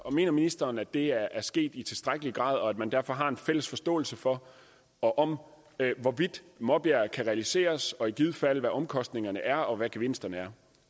mener ministeren at det er sket i tilstrækkelig grad og at man derfor har en fælles forståelse for og om hvorvidt maabjerg kan realiseres og i givet fald hvad omkostningerne er og hvad gevinsterne er